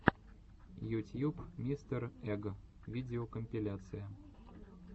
ютьюб мистер эг видеокомпиляция